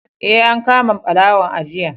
Eh, an kama ɓarawon a jiya.